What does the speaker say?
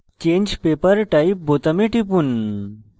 change paper type বোতামে টিপুন